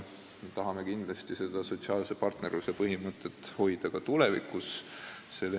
Me tahame seda sotsiaalse partnerluse põhimõtet hoida kindlasti ka tulevikus.